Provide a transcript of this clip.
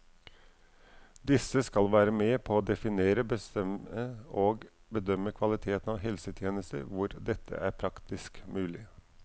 Disse skal være med på å definere, bestemme og bedømme kvaliteten av helsetjenester hvor dette er praktisk mulig.